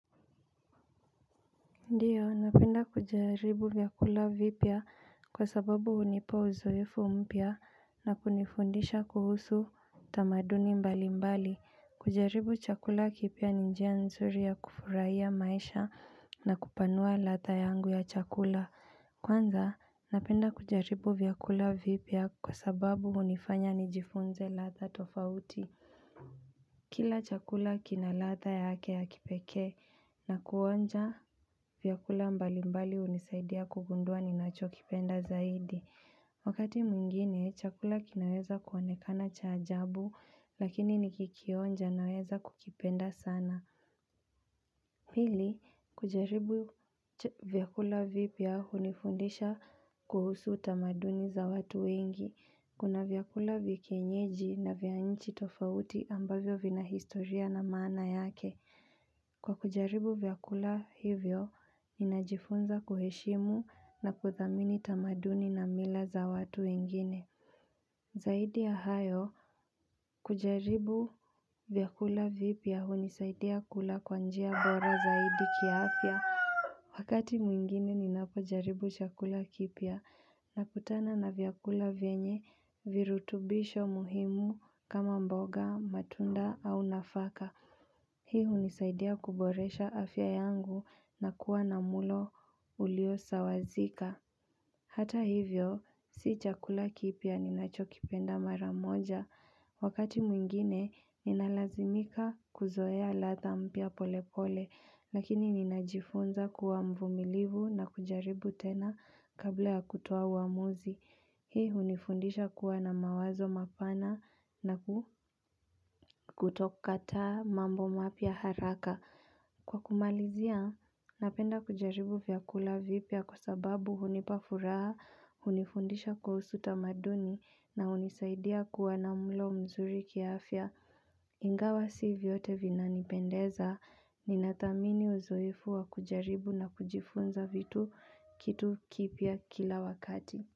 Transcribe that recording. Ndiyo, napenda kujaribu vyakula vipya kwa sababu hunipa uzoefu mpya na kunifundisha kuhusu tamaduni mbali mbali. Kujaribu chakula kipya ni njia nzuri ya kufurahia maisha na kupanua ladha yangu ya chakula. Kwanza, napenda kujaribu vyakula vipya kwa sababu hunifanya nijifunze ladha tofauti. Kila chakula kina ladha yake ya kipekee na kuonja vyakula mbali mbali hunisaidia kugundua ninachokipenda zaidi. Wakati mwingine, chakula kinaweza kuonekana cha ajabu lakini nikikionja naweza kukipenda sana. Pili, kujaribu vyakula vipya hunifundisha kuhusu tamaduni za watu wengi. Kuna vyakula vya kienyeji na vya nchi tofauti ambavyo vina historia na maana yake. Kwa kujaribu vyakula hivyo, ninajifunza kuheshimu na kuthamini tamaduni na mila za watu wengine. Zaidi ya hayo, kujaribu vyakula vipya hunisaidia kula kwa njia bora zaidi kiafya Wakati mwingine ninapojaribu chakula kipya nakutana na vyakula venye virutubisho muhimu kama mboga, matunda au nafaka Hii hunisaidia kuboresha afya yangu na kuwa na mlo uliosawazika Hata hivyo, si chakula kipya ninachokipenda mara moja. Wakati mwingine, ninalazimika kuzoea ladha mpya polepole, lakini ninajifunza kuwa mvumilivu na kujaribu tena kabla ya kutoa uamuzi. Hii hunifundisha kuwa na mawazo mapana na kutokataa mambo mapya haraka. Kwa kumalizia, napenda kujaribu vyakula vipya kwa sababu hunipa furaha, hunifundisha kuhusu tamaduni na hunisaidia kuwa na mlo mzuri kiafya. Ingawa si vyote vinanipendeza, ninatamani uzoefu wa kujaribu na kujifunza kitu kipya kila wakati.